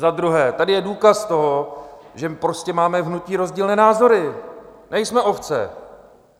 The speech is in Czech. Za druhé, tady je důkaz toho, že prostě máme v hnutí rozdílné názory, nejsme ovce.